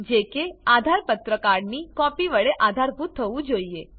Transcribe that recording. જે કે આધાર પત્રકાર્ડ ની કોપી વડે આધારભૂત થવું જોઈએ